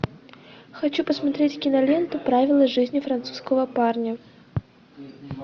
хочу посмотреть киноленту правила жизни французского парня